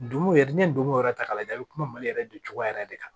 Dugu yɛrɛ ni dugu yɛrɛ ta k'a lajɛ a bɛ kuma mali yɛrɛ dun cogoya yɛrɛ de kan